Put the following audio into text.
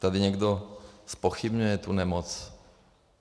Tady někdo zpochybňuje tu nemoc.